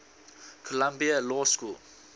columbia law school